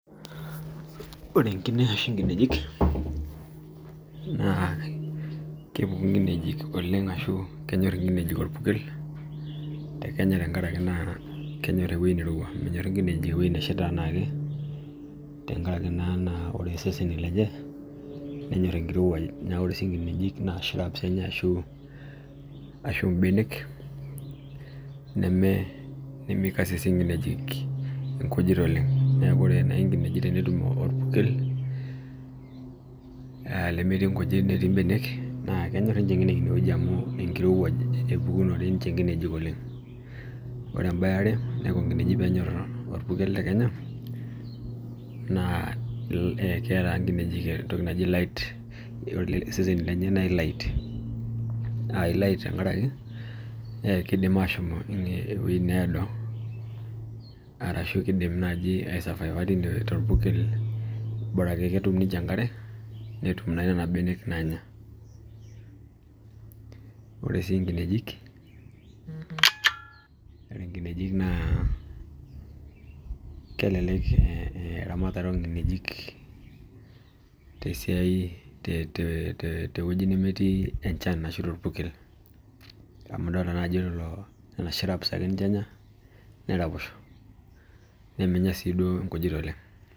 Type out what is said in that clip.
Ore enkine ashu nkinejik, naa kepuku oleng, ashu kenyor inkinejik orpukel.te Kenya tenkaraki kenyor ewueji neirowua, te Kenya tenkaraki kesheita anaake, tenkaraki naa naa ore seseni lenye, menyor enkirowuaj. ore sii nkinejik naa, shrubs Enya ashu benek, neme kaisisis nkineji k ibenek oleng. ore nkinejik tenetum orpukel. lemetii nkujit netii benek. kenyorr ninche nkinejik ine amu enkirowuaj. ebukunore ninche nkinejik oleng. ore mbaya eaere. ore peenyor orpukel keeta entoki naji ki light iseneni lenye tenkaraki kidim aashom iwuejitin needo, ashu kidim naaji ai survive torpukel ashu kidim netum ninche enkare. nena benek nanya. ore sii nkinejik naa, kelelek eramatare oo nkinejik.te wueji nemetii enchan ashu orpukel. nemenya sii duo nkujit oleng.